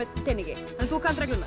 teningi þú kannt reglurnar